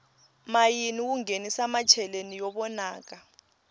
mayini wu nghenisa macheleni yo vonaka